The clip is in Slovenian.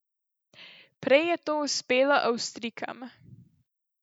Prej je to uspelo Avstrijkam.